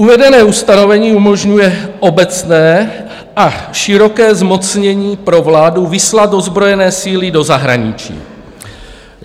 "Uvedené ustanovení umožňuje obecné a široké zmocnění pro vládu vyslat ozbrojené síly do zahraničí.